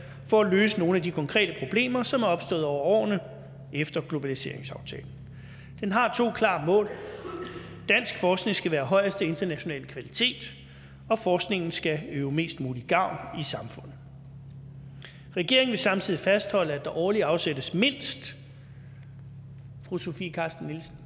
for at løse nogle af de konkrete problemer som er opstået over årene efter globaliseringsaftalen den har to klare mål dansk forskning skal være af højeste internationale kvalitet og forskningen skal øve mest mulig gavn i samfundet regeringen vil samtidig fastholde at der årligt afsættes mindst fru sofie carsten